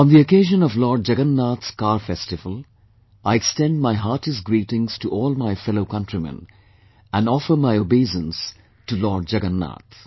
On the occasion of Lord Jagannath's Car Festival, I extend my heartiest greetings to all my fellow countrymen, and offer my obeisance to Lord Jagannath